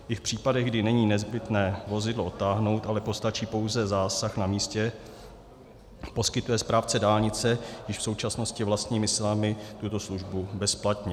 I v případech, kdy není nezbytné vozidlo odtáhnout, ale postačí pouze zásah na místě, poskytne správce dálnice již v současnosti vlastními silami tuto službu bezplatně.